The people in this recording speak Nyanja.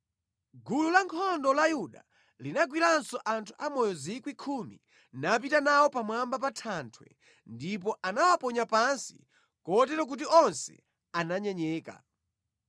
Gulu la ankhondo la Yuda linagwiranso anthu amoyo 10,000, napita nawo pamwamba pa thanthwe ndipo anawaponya pansi kotero kuti onse ananyenyeka.